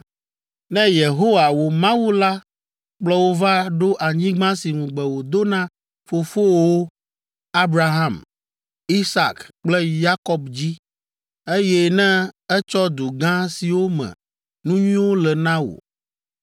Ne Yehowa, wò Mawu la kplɔ wò va ɖo anyigba si ŋugbe wòdo na fofowòwo, Abraham, Isak kple Yakob dzi, eye ne etsɔ du gã siwo me nu nyuiwo le na wò,